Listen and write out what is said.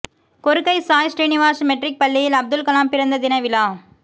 Korukkai Sai Srinivas matric பள்ளியில் அப்துல்கலாம் பிறந்த தின விழா